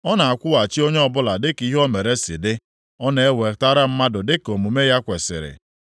Ọ na-akwụghachi onye ọbụla dịka ihe o mere si dị, ọ na-ewetara mmadụ dịka omume ya kwesiri.